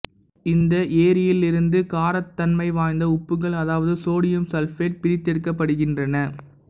இந்த ஏரியியல் இருந்து காரத்தன்மைவாய்ந்த உப்புக்கள் அதாவது சோடியம் சல்பேட் பிரித்தெடுக்கப்படுகின்றன